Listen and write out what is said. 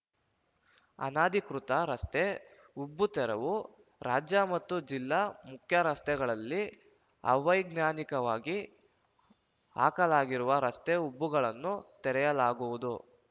ಅನಧಿಕೃತ ರಸ್ತೆ ಉಬ್ಬು ತೆರವು ರಾಜ್ಯ ಮತ್ತು ಜಿಲ್ಲಾ ಮುಖ್ಯ ರಸ್ತೆಗಳಲ್ಲಿ ಅವೈಜ್ಞಾನಿಕವಾಗಿ ಹಾಕಲಾಗಿರುವ ರಸ್ತೆ ಉಬ್ಬುಗಳನ್ನು ತೆರೆಯಲಾಗುವುದು